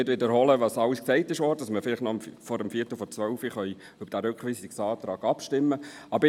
Ich wiederhole nicht alles, was schon gesagt wurde, damit wir vielleicht noch vor 11.45 Uhr über diesen Rückweisungsantrag abstimmen können.